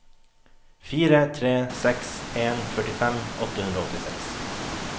fire tre seks en førtifem åtte hundre og åttiseks